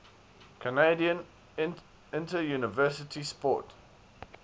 canadian interuniversity sport